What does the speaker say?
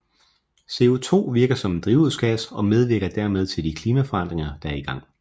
CO2 virker som en drivhusgas og medvirker derved til de klimaforandringer der er i gang